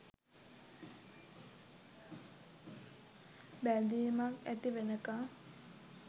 බැදිමක් ඇති වෙනකන්.